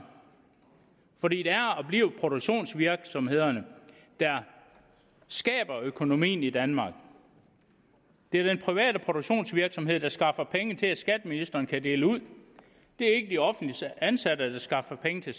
fordi det er og bliver produktionsvirksomhederne der skaber økonomien i danmark det er den private produktionsvirksomhed der skaffer penge til at skatteministeren kan dele ud det er ikke de offentligt ansatte der skaffer penge til